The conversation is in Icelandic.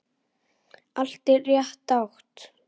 Allt í rétta átt.